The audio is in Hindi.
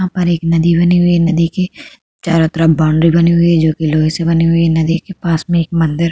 यहाँ पर एक नदी बनी हुई है। नदी के चारों तरफ बाउंड्री बनी हुई है जोकि लोहे से बनी हुई है। नदी के पास में एक मंदिर --